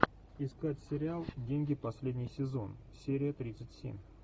искать сериал деньги последний сезон серия тридцать семь